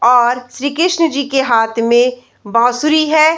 और श्री कृष्ण जी के हाथ में बासुरी है।